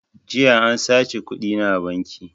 Jiya an saci kuɗina a banki